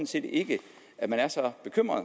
set ikke at man er så bekymret